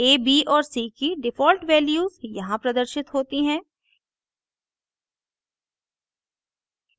a b और c की default values यहाँ प्रदर्शित होती हैं